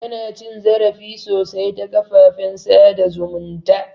Ana cin zarafi sosai ta kafafen sada zumunta